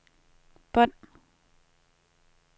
bånd